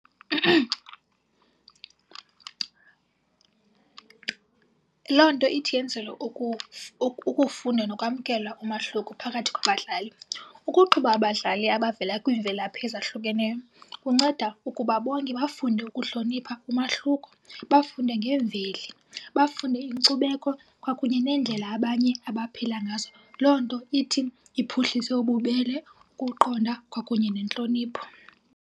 Loo nto ithi yenzelwe ukufunda nokwamkela umahluko phakathi kwabadlali. Ukuxuba abadlali abavela kwiimvelaphi ezahlukeneyo kunceda ukuba bonke bafunde ukuhlonipha umahluko, bafunde ngeemveli, bafunde inkcubeko kwakunye neendlela abanye abaphila ngazo. Loo nto ithi iphuhlise ububele, ukuqonda kwakunye nentlonipho.